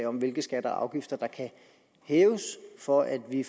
om hvilke skatter og afgifter der kan hæves for at vi